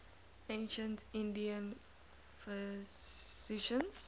ancient indian physicians